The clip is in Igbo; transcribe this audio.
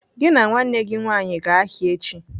"Gị na nwanne gị nwaanyị gaa ahịa echi!